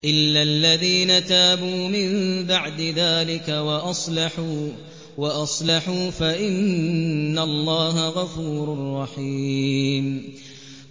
إِلَّا الَّذِينَ تَابُوا مِن بَعْدِ ذَٰلِكَ وَأَصْلَحُوا فَإِنَّ اللَّهَ غَفُورٌ رَّحِيمٌ